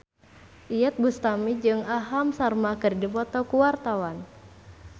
Iyeth Bustami jeung Aham Sharma keur dipoto ku wartawan